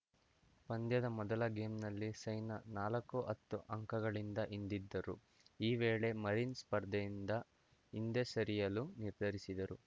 ಪಂದ್ಯದ ಮೊದಲ ಗೇಮ್‌ನಲ್ಲಿ ಸೈನಾ ನಾಲ್ಕುಹತ್ತು ಅಂಕಗಳಿಂದ ಹಿಂದಿದ್ದರು ಆ ವೇಳೆ ಮರಿನ್‌ ಸ್ಪರ್ಧೆಯಿಂದ ಹಿಂದೆ ಸರಿಯಲು ನಿರ್ಧರಿಸಿದರು